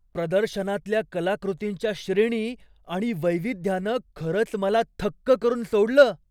प्रदर्शनातल्या कलाकृतींच्या श्रेणी आणि वैविध्यानं खरंच मला थक्क करून सोडलं.